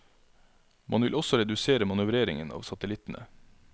Man vil også redusere manøvreringen av satellittene.